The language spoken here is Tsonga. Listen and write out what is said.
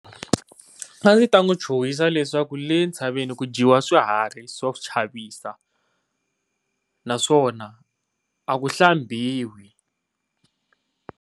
A yi ta n'wi chuchisa leswaku le ntshaveni ku dyiwa swiharhi swo chavisa, naswona a ku hlambiwi.